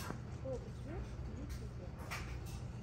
топ джир в ютюбе